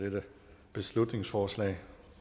dette beslutningsforslag